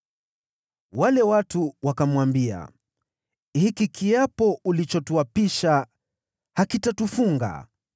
Wale watu wakamwambia, “Hiki kiapo ulichotuapisha hakitatufunga,